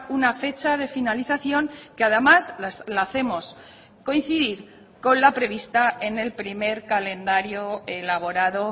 una fecha de finalización que además la hacemos coincidir con la prevista en el primer calendario elaborado